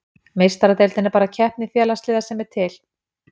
Meistaradeildin er besta keppni félagsliða sem er til.